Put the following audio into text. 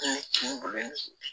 Kun ye kungolo ye